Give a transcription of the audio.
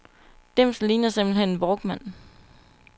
Dimsen ligner simpelt hen en walkman.